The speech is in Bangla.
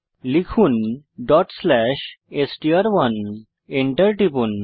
লিখুন str1ডট স্লেস এসটিআর1 Enter টিপুন